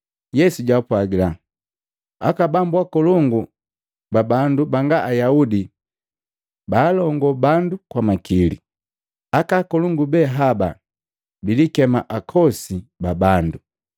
Yesu jaapwagila, “Aka bambu akolongu ba bandu banga Ayaudi baalongo bandu kwa makili. Aka akolongu be haba bilikema ‘Akosi ba bandu.’